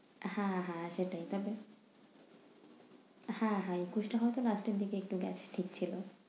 হ্যাঁ হ্যাঁ সেটাই তাতো হ্যাঁ হ্যাঁ একুশটা হয়তো last এর দিকে গেছে ঠিক ছিলো।